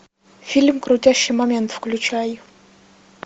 фильм крутящий момент включай